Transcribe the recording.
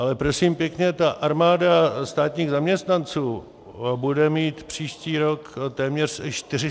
Ale prosím pěkně ta armáda státních zaměstnanců bude mít příští rok téměř 470 tisíc.